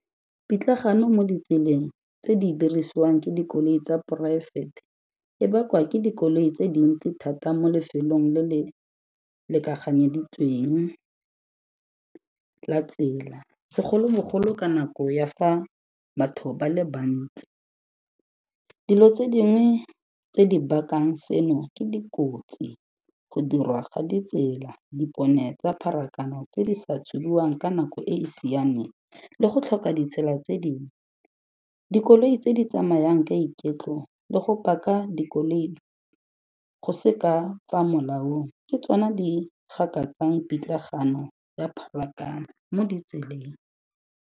Pitlagano mo ditseleng tse di dirisiwang ke dikoloi tsa poraefete, e bakwa ke dikoloi tse dintsi thata mo lefelong le le lekaganyeditsweng la tsela, segolobogolo ka nako ya fa batho ba le bantsi. Dilo tse dingwe tse di bakang seno, ke dikotsi, go dirwa ga ditsela, dipone tsa pharakano tse di sa tshubiwang ka nako e e siameng le go tlhoka ditsela tse dingwe. Dikoloi tse di tsamayang ka iketlo le go paka dikoloi go se ka fa molaong ke tsona di gakatsang pitlagano ya pharakano mo ditseleng.